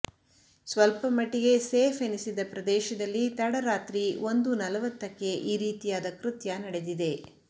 ಸ್ವಲ್ಪ ಮಟ್ಟಿಗೆ ಸೇಫ್ ಎನಿಸಿದ್ದ ಪ್ರದೇಶದಲ್ಲಿ ತಡರಾತ್ರಿ ಒಂದು ನಲವತ್ತಕ್ಕೆ ಈ ರೀತಿಯಾದ ಕೃತ್ಯ ನಡೆದಿದೆ